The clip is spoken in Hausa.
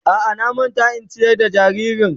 A'a na manta in ciyar da jaririn.